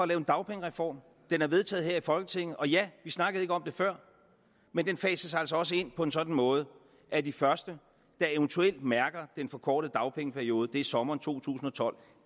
lave en dagpengereform den er vedtaget her i folketinget og ja vi snakkede ikke om det før men den fases altså også ind på en sådan måde at de første der eventuelt mærker den forkortede dagpengeperiode gør det i sommeren to tusind og tolv